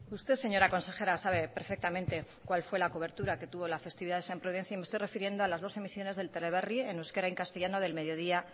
usted señora consejera sabe perfectamente cuál fue la cobertura que tubo la festividad de san prudencio y me estoy refiriendo a las dos emisiones del teleberri en euskera y castellano del mediodía